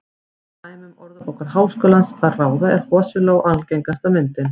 Af dæmum Orðabókar Háskólans að ráða er hosiló algengasta myndin.